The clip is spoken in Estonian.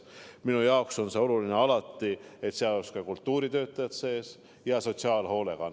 Minu jaoks on alati olnud oluline seegi, et ka kultuuritöötajatel ja sotsiaalhoolekandel.